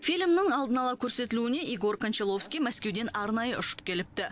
фильмнің алдын ала көрсетілуіне егор кончаловский мәскеуден арнайы ұшып келіпті